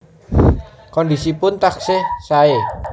Kondisipun taksih sae